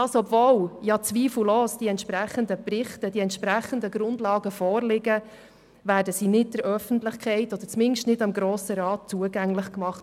Obwohl zweifellos die entsprechenden Berichte, die entsprechenden Grundlagen vorliegen, werden sie nicht der Öffentlichkeit – oder zumindest dem Grossen Rat – zugänglich gemacht.